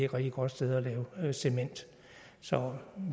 rigtig godt sted at lave cement så